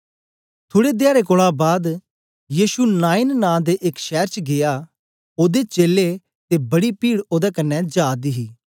थुड़े धयाडें कोलां बाद यीशु नाईन नां दे एक शैर च गीया ओदे चेलें ते बडी पीड ओदे कन्ने जा दी ही